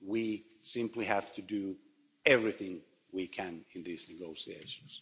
We simply have to do everything we can in these negotiations.